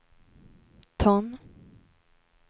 ton